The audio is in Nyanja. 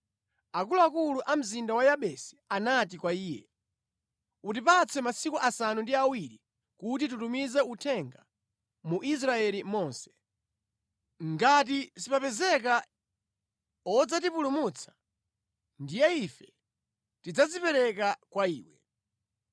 Akuluakulu a mzinda wa Yabesi anati kwa iye, “Utipatse masiku asanu ndi awiri kuti titumize uthenga mu Israeli monse. Ngati sipapezeka wodzatipulumutsa, ndiye ife tidzadzipereka kwa iwe.”